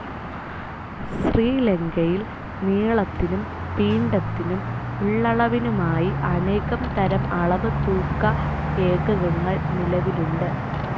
ശ്രീലങ്കയിൽ നീളത്തിനും പിണ്ഡത്തിനും ഉള്ളളവിനുമായി അനേകം തരം അളവുതൂക്ക ഏകകങ്ങൾ നിലവിലുണ്ട്.